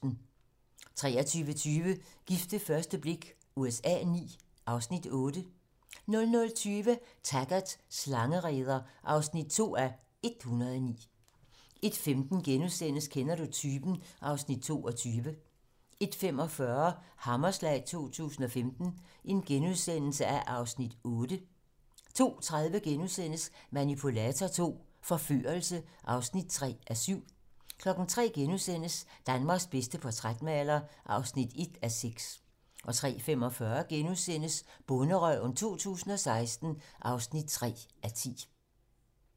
23:20: Gift ved første blik USA IX (Afs. 8) 00:20: Taggart: Slangereder (2:109) 01:15: Kender du typen? (Afs. 22)* 01:45: Hammerslag 2015 (Afs. 8)* 02:30: Manipulator II - forførelse (3:7)* 03:00: Danmarks bedste portrætmaler (1:6)* 03:45: Bonderøven 2016 (3:10)*